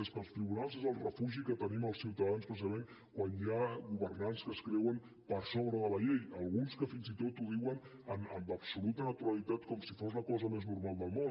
és que els tribunals és el refugi que tenim els ciutadans precisament quan hi ha governants que es creuen per sobre de la llei alguns que fins i tot ho diuen amb absoluta naturalitat com si fos la cosa més normal del món